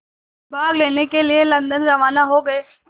भाग लेने के लिए लंदन रवाना हो गए